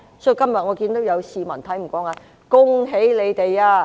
所以，我今天看到有市民看不過眼，說："恭喜你們！